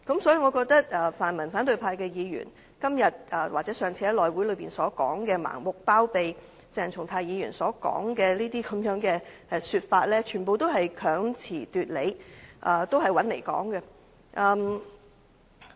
所以，我認為泛民反對派的議員今天或上次在內務委員會上盲目包庇鄭松泰議員的說法，全部都是強詞奪理、毫無道理。